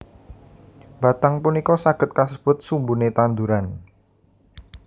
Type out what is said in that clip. Batang punika saged kasebut sumbune tanduran